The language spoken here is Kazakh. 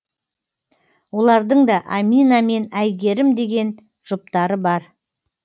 олардың да амина мен айгерім деген жұптары бар